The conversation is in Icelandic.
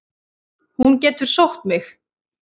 Hún getur mig sótt.